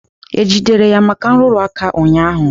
E jidere ya maka nrụrụ aka ụnyaahụ?